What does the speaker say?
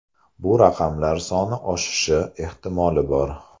Bu raqamlar soni oshishi ehtimoli bor.